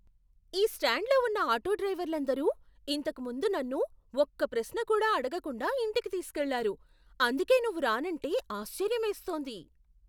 ఈ స్టాండ్లో ఉన్న ఆటోడ్రైవర్లందరూ ఇంతకు ముందు నన్ను ఒక్క ప్రశ్న కూడా అడగకుండా ఇంటికి తీసుకెళ్లారు, అందుకే నువ్వు రానంటే ఆశ్చర్యమేస్తోంది!